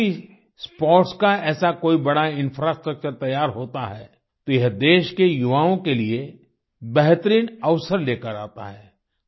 जब भी स्पोर्ट्स का ऐसा कोई बड़ा इंफ्रास्ट्रक्चर तैयार होता है तो यह देश के युवाओं के लिए बेहतरीन अवसर लेकर आता है